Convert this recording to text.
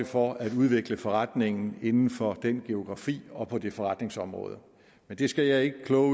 for at udvikle forretningen inden for den geografi og på det forretningsområde det skal jeg ikke kloge